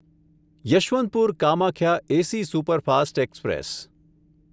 Yesvantpur Kamakhya AC superfast express